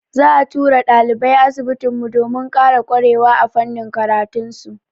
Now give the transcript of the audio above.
Za'a turo ɗalibai asibitin mu, domin ƙara ƙwarewa a fannin karatun su.